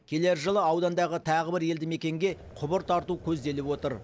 келер жылы аудандағы тағы бір елді мекенге құбыр тарту көзделіп отыр